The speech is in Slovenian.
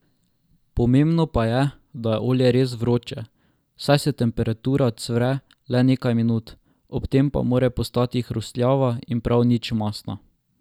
Pomembno pa je, da je olje res vroče, saj se tempura cvre le nekaj minut, ob tem pa mora postali hrustljava in prav nič mastna.